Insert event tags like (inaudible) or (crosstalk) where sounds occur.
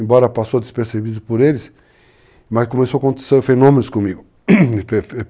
Embora passou despercebido por eles, mas começou a acontecer fenômenos comigo (coughs) (unintelligible)